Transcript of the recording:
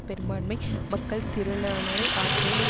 பெரும்பான்மை மக்கள் திரளானரை ஆற்றொண